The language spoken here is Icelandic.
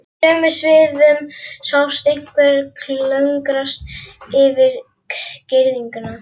Í sömu svifum sást einhver klöngrast yfir girðinguna.